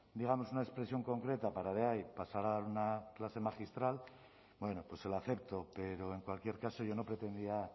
digamos una expresión concreta para de ahí pasar a dar una clase magistral bueno pues se lo acepto pero en cualquier caso yo no pretendía